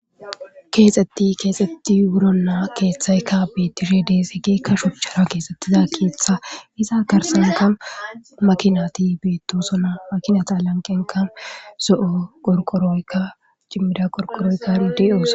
Keexetti keexetti wuro naa keeththayka betishe desegekka shochchara keesettiza keeththa iza karsanka makinati beettosona makinata alanqenka so'o qorqoroykka cimmida qorqoroykka riidios.